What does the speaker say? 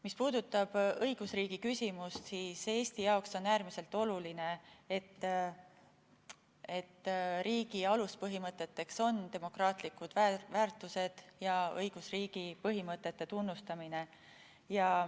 Mis puudutab õigusriigi küsimust, siis Eesti jaoks on äärmiselt oluline, et riigi aluspõhimõteteks on demokraatlikud väärtused ja õigusriigi põhimõtete tunnustamine.